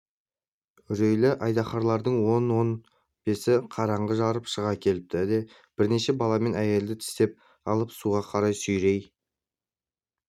үрейлі айдаһарлардың он-он бесі қараңғыны жарып шыға келіпті де бірнеше бала мен әйелді тістеп алып суға қарай сүйрей